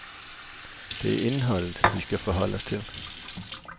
Det er indholdet, vi skal forholde os til.